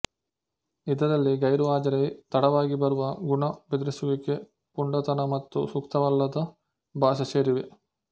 ಇದರಲ್ಲಿ ಗೈರುಹಾಜರಿ ತಡವಾಗಿ ಬರುವ ಗುಣ ಬೆದರಿಸುವಿಕೆಪುಂಡತನ ಮತ್ತು ಸೂಕ್ತವಲ್ಲದ ಭಾಷೆ ಸೇರಿವೆ